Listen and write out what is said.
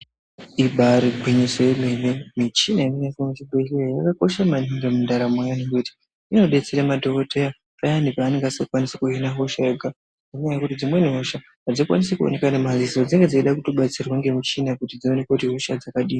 Ibairi gwinyiso remene, michini inoshandiswa muzvibhedhlera imweni yakakosha maningi mundaramo ngendaa yekuti inodetsera madhogodheya payani peanenge asingakwanisi kuona hosha ega, ngendaa yekuti dzimweni hosha hadzikwanisi kuoneka ngemadziso, dzinenge dzeitoda kubetserwa ngemichina kuti dzioneke kuti ihosha dzakadini.